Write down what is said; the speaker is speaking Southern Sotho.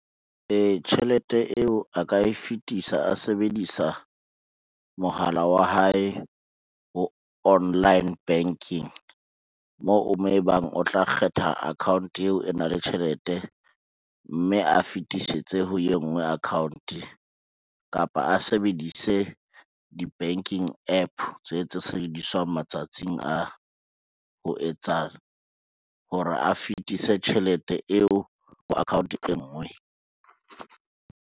Ee, tjhelete eo a ka e fetisa a sebedisa mohala wa hae ho online banking, moo mo ebang o tla kgetha account eo e nang le tjhelete, mme a fitisetse ho e ngwe account kapa a sebedise di-banking app tse tse sebediswang matsatsing a ho etsa hore a fetise tjhelete eo ho account e ngwe.